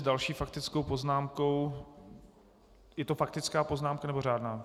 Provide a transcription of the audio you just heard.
S další faktickou poznámkou - je to faktická poznámka, nebo řádná?